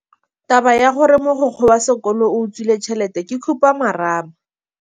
Taba ya gore mogokgo wa sekolo o utswitse tšhelete ke khupamarama.